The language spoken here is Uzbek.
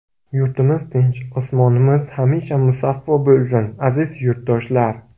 Yurtimiz tinch, osmonimiz hamisha musaffo bo‘lsin, aziz yurtdoshlar!